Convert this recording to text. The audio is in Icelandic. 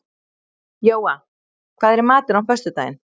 Jóa, hvað er í matinn á föstudaginn?